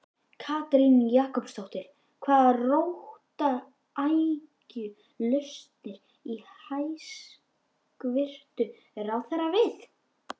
Katrín Jakobsdóttir: Hvaða róttæku lausnir á hæstvirtur ráðherra við?